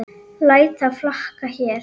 Læt það flakka hér.